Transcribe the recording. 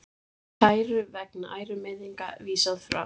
Kæru vegna ærumeiðinga vísað frá